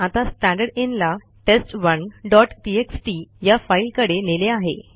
आता स्टँडरदिन ला टेस्ट1 डॉट टीएक्सटी या फाईलकडे नेले आहे